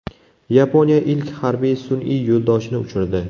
Yaponiya ilk harbiy sun’iy yo‘ldoshini uchirdi.